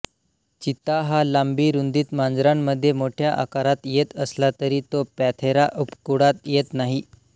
चित्ता हा लांबी रुंदीत मांजरांमध्ये मोठ्या आकारात येत असला तरी तो पॅंथेरा उपकुळात येत नाही